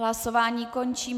Hlasování končím.